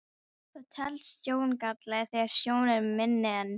Það telst sjóngalli þegar sjón er minni en